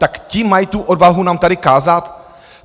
Tak ti mají tu odvahu nám tady kázat?